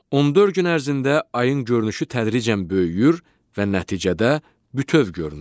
14 gün ərzində ayın görünüşü tədricən böyüyür və nəticədə bütöv görünür.